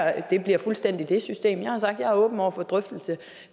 at det bliver fuldstændig det system jeg har sagt at jeg er åben over for en drøftelse af